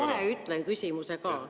Kohe ütlen küsimuse ka.